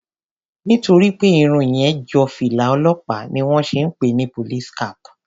Nítorí pé Irun yẹn jọ fìlà olópàá ni wón ṣe ń pè ni police cap.